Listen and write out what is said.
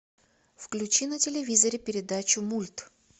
включи на телевизоре передачу мульт